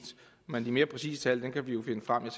men de mere præcise tal kan vi jo finde frem jeg